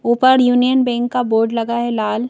ऊपर Union Bank का board लगा है लाल --